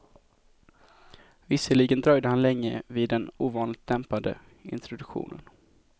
Visserligen dröjde han länge vid den ovanligt dämpade introduktionen.